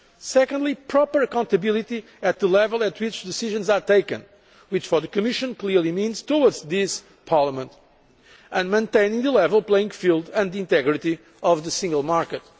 Secondly, we need proper accountability at the level at which decisions are taken, which for the Commission clearly means to this Parliament, and maintaining the level playing field and the integrity of the single market.